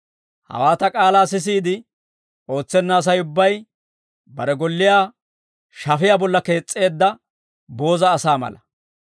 «Hawaa ta k'aalaa sisiide ootsenna Asay ubbay, bare golliyaa shafiyaa bolla kees's'eedda booza asaa mala.